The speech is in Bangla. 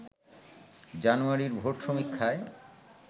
জানুয়ারির ভোট সমীক্ষায়